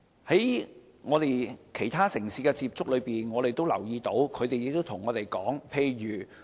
在我們與其他城市的接觸中，我們留意到一些情況，他們也曾與我們分享。